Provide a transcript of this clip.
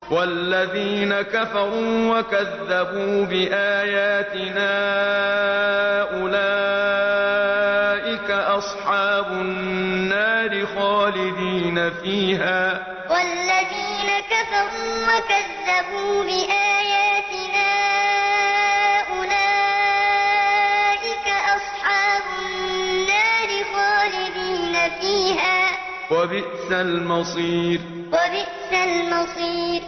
وَالَّذِينَ كَفَرُوا وَكَذَّبُوا بِآيَاتِنَا أُولَٰئِكَ أَصْحَابُ النَّارِ خَالِدِينَ فِيهَا ۖ وَبِئْسَ الْمَصِيرُ وَالَّذِينَ كَفَرُوا وَكَذَّبُوا بِآيَاتِنَا أُولَٰئِكَ أَصْحَابُ النَّارِ خَالِدِينَ فِيهَا ۖ وَبِئْسَ الْمَصِيرُ